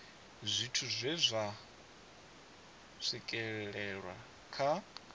zwithu zwe zwa swikelelwa kha